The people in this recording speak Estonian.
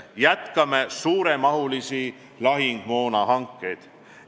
Jätkame suuremahulisi lahingumoona hankeid.